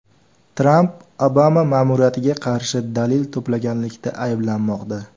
Tramp Obama ma’muriyatiga qarshi dalil to‘plaganlikda ayblanmoqda.